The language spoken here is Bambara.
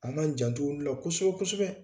An ŋ'an janto olu la kosɛbɛ-kosɛbɛ!